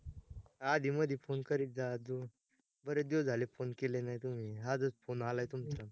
अधी मधी phone करीत जा अजून, बरेच दिवस झाले phone केले नाही तुम्ही, आजच phone आलाय तुमचा